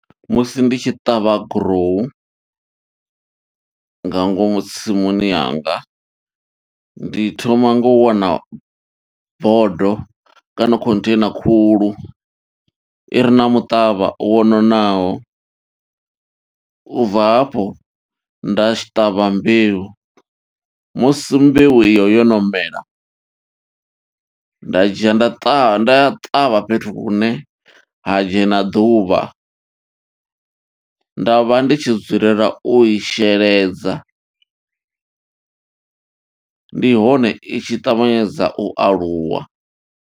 Musi ndi tshi ṱavha gurowu, nga ngomu tsimuni yanga. Ndi thoma ngo wana bodo, kana container khulu, i re na muṱavha wo nonaho. U bva hafho, nda tshi ṱavha mbeu, musi mbeu iyo yo no mela, nda dzhia nda ṱavha, nda ṱavha fhethu hune ha ha dzhena ḓuvha. Nda vha ndi tshi dzulela u i sheledza, ndi hone i tshi ṱavhanyedza u aluwa.